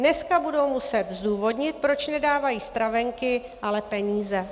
Dneska budou muset zdůvodnit, proč nedávají stravenky, ale peníze.